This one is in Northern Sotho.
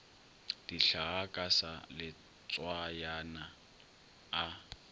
dihlaa ka sa letswayana a